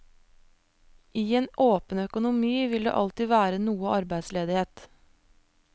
I en åpen økonomi vil det alltid være noe arbeidsledighet.